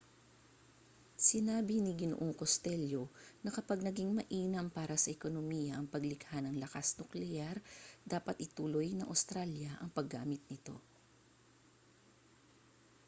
sinabi ni g costello na kapag naging mainam para sa ekonomiya ang paglikha ng lakas-nukleyar dapat ituloy ng australya ang paggamit nito